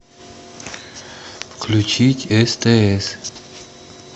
включить стс